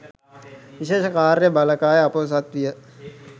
විශේෂ කාර්ය බළකාය අපොහොසත් විය